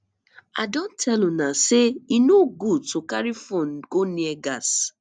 i don tell una say e no good to carry phone go near gas